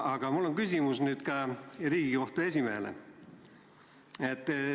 Aga mul on küsimus Riigikohtu esimehele.